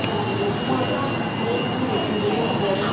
தனக்கு வெகுமானம் கிடைக்கும் என்று நினைத்த போது